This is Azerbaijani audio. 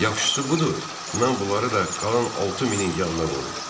Yaxşısı budur, mən bunları da qalan 6000-in yanına qoyum.